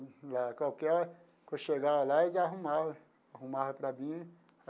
Qualquer hora que eu chegava lá, eles arrumavam, arrumavam para mim.